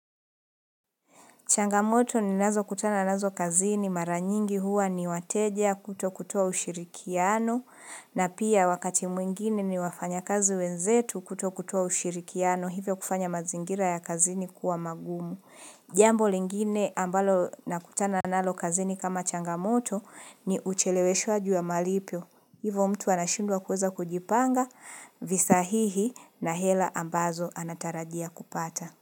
Changamoto ni nazo kutana nazo kazini maranyingi huwa ni wateja kuto kutoa ushirikiano na pia wakati mwingine ni wafanya kazi wenzetu kuto kutoa ushirikiano hivyo kufanya mazingira ya kazini kuwa magumu. Jambo lingine ambalo na kutana nalo kazini kama changamoto ni ucheleweshwaji wa malipo. Hivo mtu anashindwa kuweza kujipanga visahihi na hela ambazo anatarajia kupata.